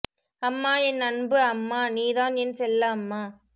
அம்மா என் அன்பு அம்மா நீ தான் என் செல்ல அம்மா